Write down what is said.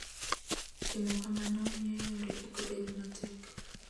Timo kamano miyo yore ok bed matek.